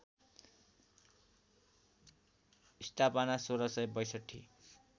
स्‍थापना १६६२